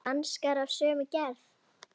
Hanskar af sömu gerð.